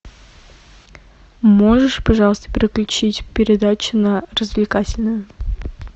можешь пожалуйста переключить передачу на развлекательную